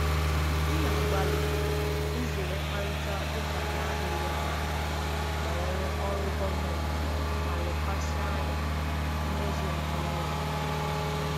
M na-agbalị izere mkparịta ụka na-adịghị mma banyere ọrụ gọọmentị ma lekwasị anya na mmezu nke onwe.